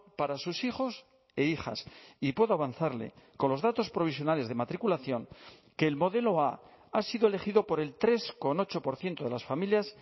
para sus hijos e hijas y puedo avanzarle con los datos provisionales de matriculación que el modelo a ha sido elegido por el tres coma ocho por ciento de las familias